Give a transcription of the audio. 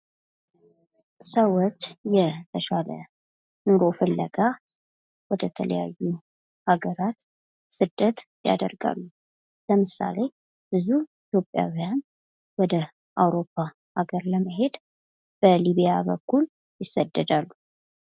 ሰዎች የተሻለ ኑሮ ፍለጋ ወደ ተለያዩ ሀገራት ስደት ያደርጋሉ ለምሳሌ ብዙ ኢትዮጵያውያን ኢትዮጵያዊያን ወደ አውሮፓ ሀገር ለመሄድ በሊቢያ በኩል ይሰደዳሉ።